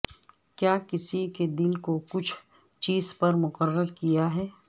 کیا کسی کے دل کو کچھ چیز پر مقرر کیا ہے